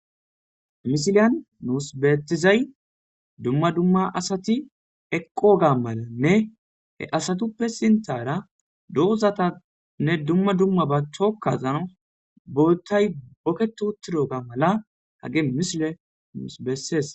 Ha misiliyan nus beettizay dumma dumma asati eqqoga malanne he asatuppe sintara dohuzatanne dumma dumma ba chokkazana boottay boketu uttidoga mala ha misiley nus beessees